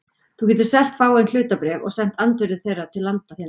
Þú getur selt fáein hlutabréf og sent andvirði þeirra til landa þinna.